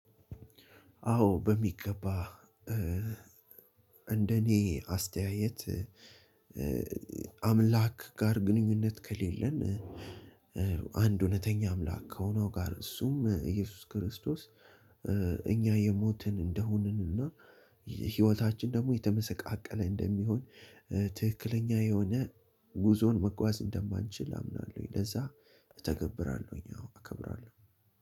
አዎ በሚገባ እንደኔ አስተያየት አምላክ ጋር ግንኙነት ከሌለን አንድ እውነተኛ አምላክ ከሆነው ጋር እሱም ኢየሱስ ክርስቶስ። እኛ የሞትን እንደሆንን እና ህይወታችን ደግሞ የተመሰቃቀለ እንደሚሆን ትክክለኛ የሆነ ጉዞን መጓዝ እንደማንችል አምናለሁኝ። ለዛ እተገብራለሁኝ አከብራለሁ።